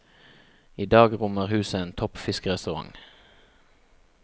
I dag rommer huset en topp fiskerestaurant.